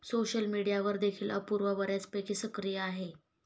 Social मीडियावर देखील अपूर्वा बऱ्यापैकी सक्रिय आहे.